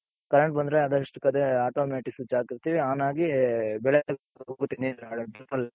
current ಬಂದ್ರೆ ಅದ್ರಷ್ಟಕ್ ಅದೇ automatic switch ಹಾಕಿರ್ತಿವಿ on ಆಗಿ